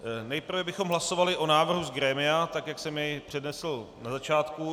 Nejprve bychom hlasovali o návrhu z grémia, tak jak jsem jej přednesl na začátku.